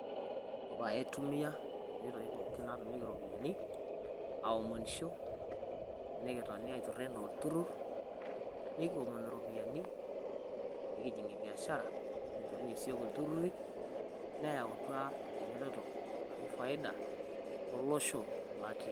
ore aitumiya kuna itoi pooki naatumieki iropiyiani aomonisho nikitoni aitururo anaa olturur, nikiomonu iropiyiani nikinterunyie siyiok biashara neeku ore iltururi neyautua faida tolosho.